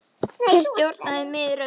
Þeir stjórna því miður öllu.